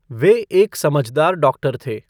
वे एक समझदार डाॅक्टर थे।